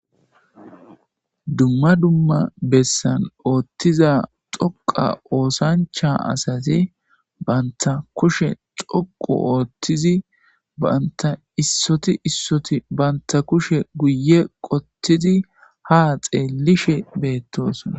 Dumma dumma bessan oththiza xoqqa oosancha assati bantta kushshe xooqqu ooththidi bantta issoti issoti bantta kushshe guuye qoottidi haa xellishe bettossona.